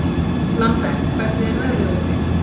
Lambert, hvernig er veðrið úti?